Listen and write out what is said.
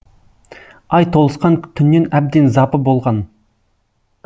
ай толысқан түннен әбден запы болған